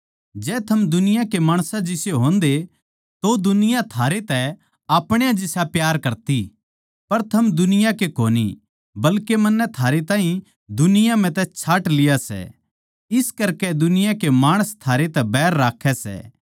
जै थम दुनिया के माणसां जिसे होंदे तो दुनिया थारे तै आपण्यां जिसा प्यार करती पर थम दुनिया के कोनी बल्के मन्नै थारैताहीं दुनिया म्ह तै छाँट लिया सै इस करकै दुनिया के माणस थारै तै बैर राक्खै सै